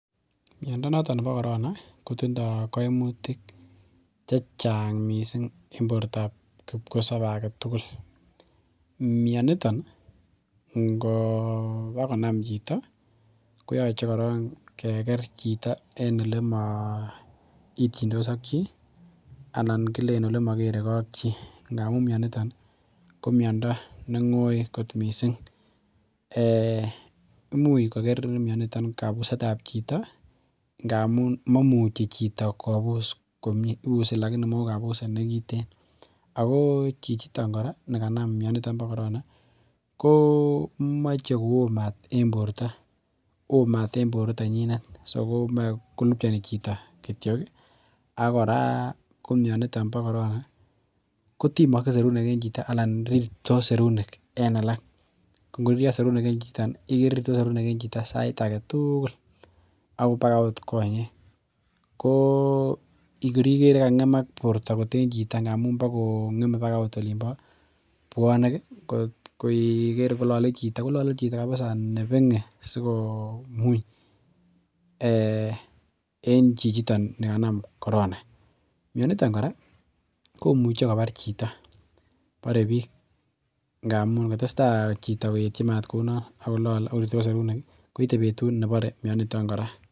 miondo notok nebo korona kotindo koimutik chechaang missing en bortab kipkosobe agetugul mionitok ngobo konam chito koyoche koron keker chito en ole moityindos ak chi alak kilen ele mokere ak chi ngamun mionitoki komiondo nengoi missing imuch koker mionitok kabusetab chito ngamun moimuchi chito kobus komie ibuse lagini mongu kabuset nekiten ako chichitok kora nikanam mionitok nipo korona komoche kowo maat en borto woo maat en borito nyinet so komoe kolupchoni chito kitioki akora komionitok bo korona kotimokse serunek en chito alan rirtos serunek en alak kongoririo serunek en chito ni ikere rirtos serunek en chito sait agetugul ako baoot konyek koo korikere kangemak borto koot en chito ngamun bo kongeme bakat oot olimpo bwonik korikere kolole chito kolole chito kabisa nebengen sikomuny en chichito nikanam korona mionitok kora komuche kobar chito bore biik ngamun ngotesta chito koetyin maat kounon ak korirtos seruneki koite betut nebore mioniton kora